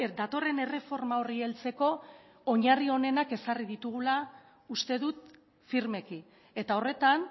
datorren erreforma horri heltzeko oinarri onenak ezarri ditugula uste dut firmeki eta horretan